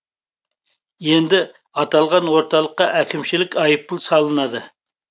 енді аталған орталыққа әкімшілік айыппұл салынады